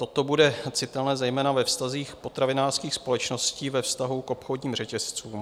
Toto bude citelné zejména ve vztazích potravinářských společností ve vztahu k obchodním řetězcům.